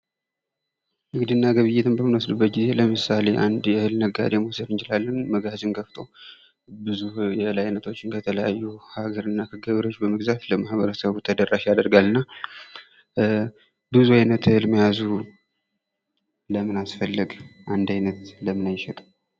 ንግድና ግብይትን በምንወስድበት ጊዜ ለምሳሌ አንድ የእህል ነጋዴ መዉሰድ እንችላለን። መጋዝኖችን ከፍቶ ብዙ የእህል አይነቶችን ከተለያዩ ሀገር እና ከገበሬዎች በመግዛት ለማህበረሰቡ ተደራሽ ያደርጋል። እና ብዙ አይነት እህል መያዙ ለምን አስፈለገ? አንድ አይነት ለምን አይሸጥም?